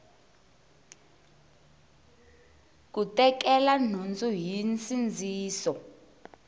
ku tekela nhundzu hi nsindziso